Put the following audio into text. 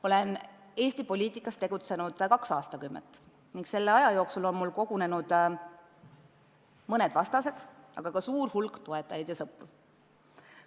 Olen Eesti poliitikas tegutsenud kaks aastakümmet ning selle aja jooksul on mul kogunenud mõned vastased, aga ka suur hulk toetajaid ja sõpru.